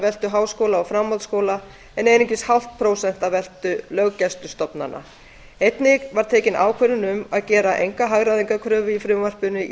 veltu háskóla og framhaldsskóla en einungis hálft prósent af veltu löggæslustofnana einnig var tekin ákvörðun um að gera enga hagræðingarkröfu í frumvarpinu í